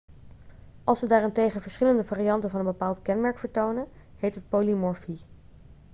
als ze daarentegen verschillende varianten van een bepaald kenmerk vertonen heet het polymorfie